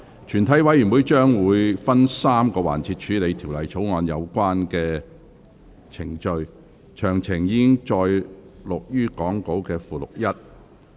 全體委員會將會分3個環節處理《條例草案》的有關程序，詳情載於講稿附錄1。